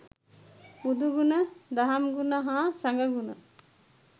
බුදුගුණ, දහම්ගුණ, හා සඟ ගුණ